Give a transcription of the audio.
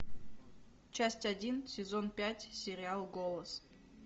часть один сезон пять сериал голос